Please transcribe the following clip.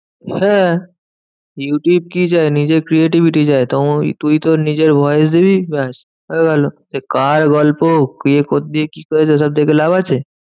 হ্যাঁ ইউটিউব কি চায়? নিজের creativity চায়। তুই তোর নিজের voice দিবি ব্যাস হয়েগেল। সে কার গল্প? কে কোথা দিয়ে কি করছে? ওইসব দেখে লাভ আছে?